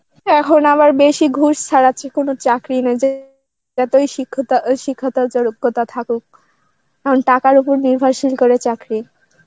এখন আবার বেশি ঘুষ ছাড়াচ্ছে কোন চাকরি নেই যে যতই শিক্ষতা~ শিক্ষাতার যে যোগ্যতা থাকুক কারণ টাকার উপর নির্ভরশীল করে চাকরি.